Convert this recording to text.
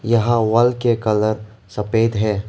यहां वॉल के कलर सफेद है।